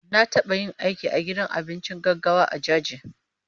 Na taɓa yin aiki a gidan abinci gaggawa a Jaji.